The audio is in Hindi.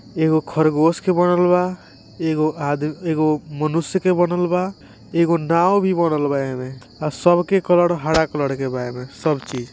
एकगो खरगोश के बनलबा एकगो आदमी एकगो मनुष्य के बनेलवा एगो नाव भी बनल बा ईमे और सब के कलर हरा कलर के बा सब चीज़--